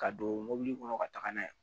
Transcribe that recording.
Ka don mɔbili kɔnɔ ka taga n'a ye